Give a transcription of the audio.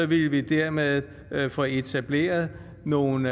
ville vi dermed få etableret nogle